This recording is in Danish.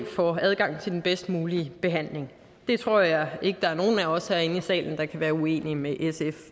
får adgang til den bedst mulige behandling det tror jeg ikke der er nogen af os herinde i salen der kan være uenige med sf